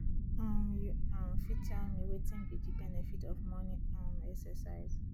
um you um fit tell me wetin be di benefit of morning um exercise